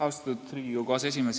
Austatud Riigikogu aseesimees!